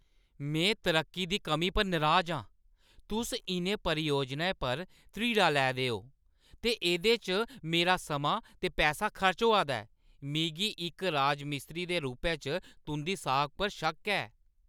में तरक्की दी कमी पर नराज आं। तुस इʼनें परियोजनें पर ध्रीड़ां लै दे ओ ते एह्दे च मेरा समां ते पैसा खर्च होआ दा ऐ; मिगी इक राजमिस्त्री दे रूपै च तुंʼदी साख पर शक्क ऐ।